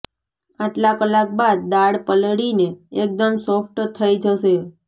આટલા કલાક બાદ દાળ પલળીને એકદમ સોફ્ટ થઈ જશે